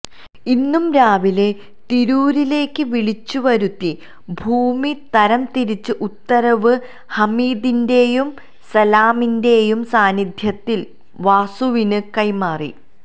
ഇന്നു രാവിലെ തിരൂരിലേക്ക് വിളിച്ചുവരുത്തി ഭൂമി തരം തിരിച്ച ഉത്തരവ് ഹമീദിന്റെയും സലാമിന്റെയും സാന്നിധ്യത്തില് വാസുവിന് കൈമാറി